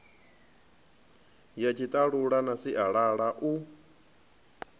ya tshiṱalula na sialala u